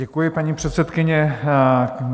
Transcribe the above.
Děkuji, paní předsedkyně.